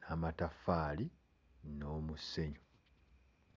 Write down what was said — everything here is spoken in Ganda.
n'amataffaali n'omusenyu.